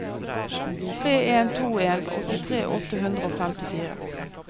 tre en to en åttitre åtte hundre og femtifire